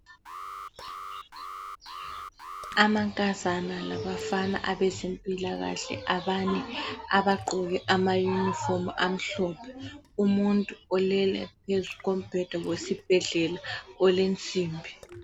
Amankazana labafana abezempilakahle abane abagqoke amayunifomu amhlophe, umuntu olele phezu kombheda wesibhedlela olensimbi.